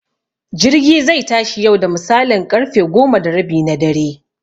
Jirgi zai tashi yau da misalin ƙarfe goma da rabi na dare